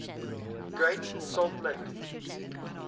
great salt lake